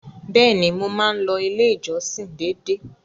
Bẹ́ẹ̀ni, mo máa ń lọ ilé ìjọsìn dédé.